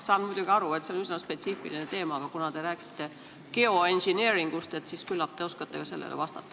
Saan muidugi aru, et see on üsna spetsiifiline teema, aga kuna te rääkisite geoengineering'ust, siis küllap te oskate ka sellele vastata.